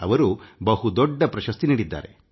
ಯವರು ಬಹುದೊಡ್ಡ ಪ್ರಶಸ್ತಿ ನೀಡಿದ್ದಾರೆ